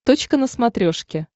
точка на смотрешке